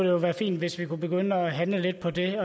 jo være fint hvis vi kunne begynde at handle lidt på den